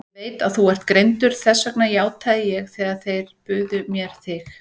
Ég veit að þú ert greindur, þess vegna játaði ég þegar þeir buðu mér þig.